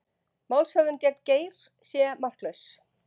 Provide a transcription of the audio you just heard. Málshöfðun gegn Geir sé marklaus